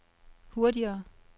hurtigere